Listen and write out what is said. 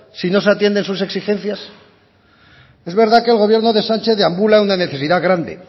si no se atienden sus exigencias es verdad que el gobierno de sánchez deambula una necesidad grande